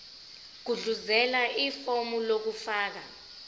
gudluzela ifomu lokufaka